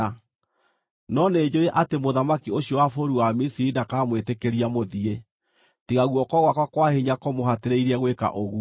No nĩnjũũĩ atĩ mũthamaki ũcio wa bũrũri wa Misiri ndakamwĩtĩkĩria mũthiĩ, tiga guoko gwakwa kwa hinya kũmũhatĩrĩirie gwĩka ũguo.